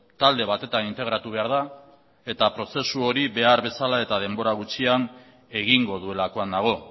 talde batetan integratu behar da eta prozesu hori behar bezala eta denbora gutxian egingo duelakoan nago